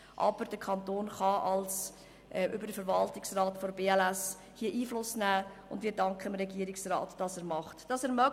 Aber der Kanton kann hier über den Verwaltungsrat der BLS Einfluss nehmen, und wir danken dem Regierungsrat, dass er dies tut.